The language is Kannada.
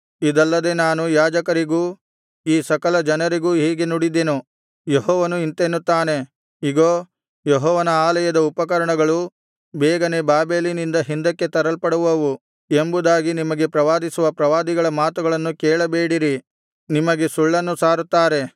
ಇದಲ್ಲದೆ ನಾನು ಯಾಜಕರಿಗೂ ಈ ಸಕಲಜನರಿಗೂ ಹೀಗೆ ನುಡಿದೆನು ಯೆಹೋವನು ಇಂತೆನ್ನುತ್ತಾನೆ ಇಗೋ ಯೆಹೋವನ ಆಲಯದ ಉಪಕರಣಗಳು ಬೇಗನೆ ಬಾಬೆಲಿನಿಂದ ಹಿಂದಕ್ಕೆ ತರಲ್ಪಡುವವು ಎಂಬುದಾಗಿ ನಿಮಗೆ ಪ್ರವಾದಿಸುವ ಪ್ರವಾದಿಗಳ ಮಾತುಗಳನ್ನು ಕೇಳಬೇಡಿರಿ ನಿಮಗೆ ಸುಳ್ಳನ್ನು ಸಾರುತ್ತಾರೆ